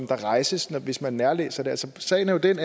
rejses hvis man nærlæser det sagen er jo den